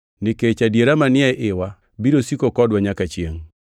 nikech adiera manie iwa biro siko kodwa nyaka chiengʼ: